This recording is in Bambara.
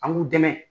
An b'u dɛmɛ